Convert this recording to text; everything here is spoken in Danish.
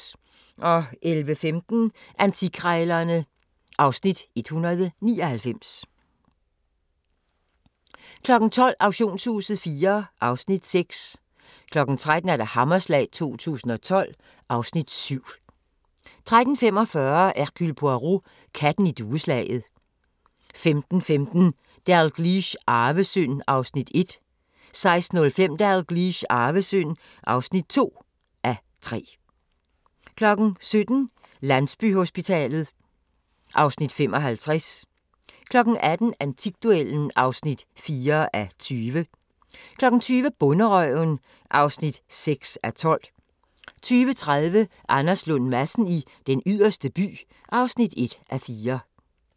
11:15: Antikkrejlerne (Afs. 199) 12:00: Auktionshuset IV (Afs. 6) 13:00: Hammerslag 2012 (Afs. 7) 13:45: Hercule Poirot: Katten i dueslaget 15:15: Dalgliesh: Arvesynd (1:3) 16:05: Dalgliesh: Arvesynd (2:3) 17:00: Landsbyhospitalet (Afs. 55) 18:00: Antikduellen (4:20) 20:00: Bonderøven (6:12) 20:30: Anders Lund Madsen i Den Yderste By (1:4)